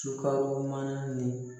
Sukaro mana ni